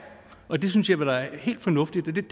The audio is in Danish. og det synes jeg var helt fornuftigt